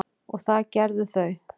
og það gerðu þau.